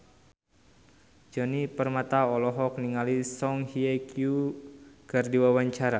Djoni Permato olohok ningali Song Hye Kyo keur diwawancara